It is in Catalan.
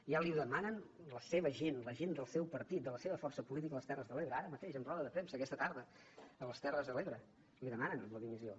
ja li ho demanen la seva gent la gent del seu partit de la seva força política a les terres de l’ebre ara mateix en roda de premsa aquesta tarda de les terres de l’ebre li demanen la dimissió